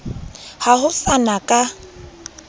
ha ho sa na ka